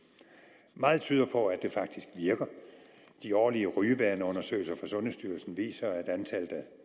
meget tyder på at det faktisk virker de årlige rygevaneundersøgelser fra sundhedsstyrelsen viser at antallet af